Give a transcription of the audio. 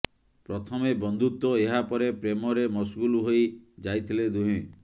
ପ୍ରଥମେ ବନ୍ଧୁତ୍ୱ ଏହା ପରେ ପ୍ରେମରେ ମସଗୁଲ ହୋଇ ଯାଇଥିଲେ ଦୁହେଁ